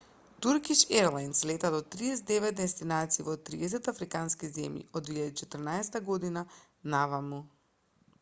туркиш ерлајнс лета до 39 дестинации во 30 африкански земји од 2014 година наваму